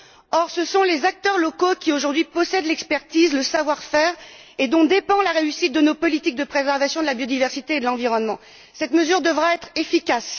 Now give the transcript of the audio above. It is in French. Or, ce sont les acteurs locaux qui possèdent aujourd'hui l'expertise et le savoir faire dont dépend la réussite de nos politiques de préservation de la biodiversité et de l'environnement. Cette mesure devra être efficace.